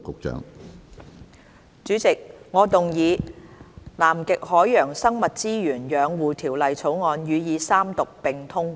主席，我動議《南極海洋生物資源養護條例草案》予以三讀並通過。